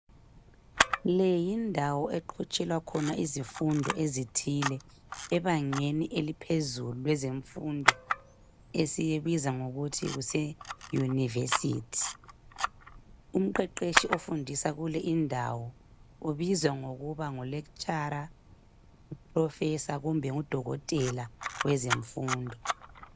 Le yindawo eqhutshelwa khona izifundo ezithile ebangeni eliphezulu lwezemfundo esiyibiza ngokuthi kuse yunivesithi. Umqeqeshi ofundisa kule indawo ubizwa ngokuba nguLekhitshara, Purofesa kumbe nguDokotela wezemfundo.